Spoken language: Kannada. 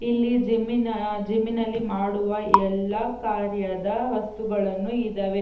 ಇಲ್ಲಿ ಜಿಮ್ಮಿನ ಜಿಮ್ಮಿನಲ್ಲಿ ಮಾಡುವ ಎಲ್ಲಾ ಕಾರ್ಯದ ವಸ್ತುಗಳನ್ನು ಇದಾವೆ.